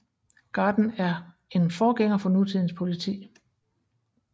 Garden er en forgænger for nutidens politi